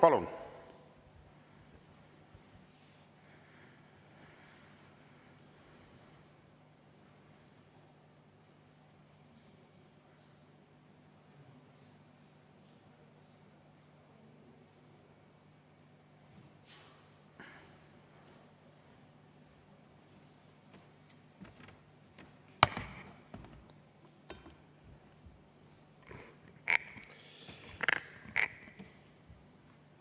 Palun!